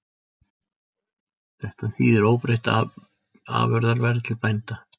Þetta þýðir óbreytt afurðaverð til bænda